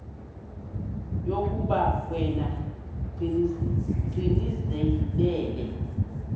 yokuba yena gcinizibele